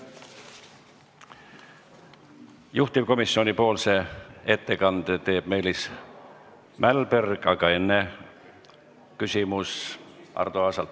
Juhtivkomisjoni ettekande teeb Meelis Mälberg, aga enne küsimus Arto Aasalt.